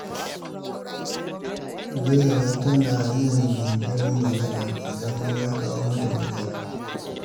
Zuwaira yanzu tana yin jinkirin magana idan wani ya kawo mata matsala.